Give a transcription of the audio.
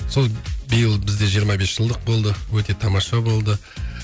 сол биыл бізде жиырма бес жылдық болды өте тамаша болды